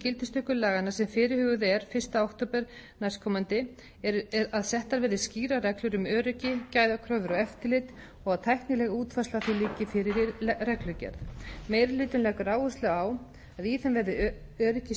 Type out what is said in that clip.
gildistöku laganna sem fyrirhuguð er fyrsta október næstkomandi að settar verði skýrar reglur um öryggi gæðakröfur og eftirlit og að tæknileg útfærsla á því liggi fyrir í reglugerð meiri hlutinn leggur áherslu á að í þeim verði öryggi sjúklinga